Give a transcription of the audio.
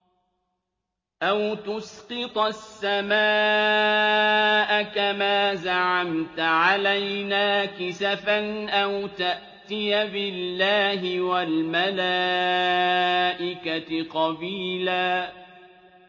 أَوْ تُسْقِطَ السَّمَاءَ كَمَا زَعَمْتَ عَلَيْنَا كِسَفًا أَوْ تَأْتِيَ بِاللَّهِ وَالْمَلَائِكَةِ قَبِيلًا